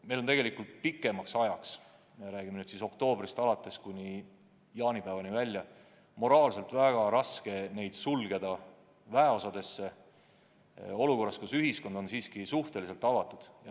Meil on olnud moraalselt raske neid pikemaks ajaks – me räägime perioodist oktoobrist kuni jaanipäevani välja – väeosadesse sulgeda, kui muu ühiskond on siiski suhteliselt avatud.